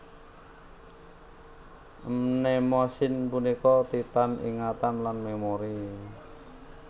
Mnemosine punika Titan ingatan lan memori